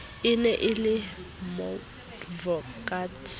e ne e le moadvokate